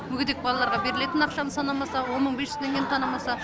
мүгедек балаларға берілетін ақшаны санамаса он мың бес жүз теңгені санамаса